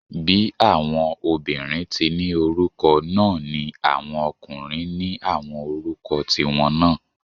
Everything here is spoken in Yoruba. Bí àwọn obìnrin tí ni orúkọ náà ni àwọn ọkùnrin ní àwọn orúkọ tí wọn náà